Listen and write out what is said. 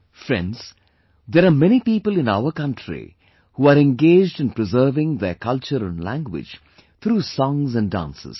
Friends, there are many people in our country who are engaged in preserving their culture and language through songs and dances